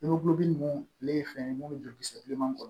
ninnu ale ye fɛn ye mun bɛ joli kisɛ bilenman kɔnɔ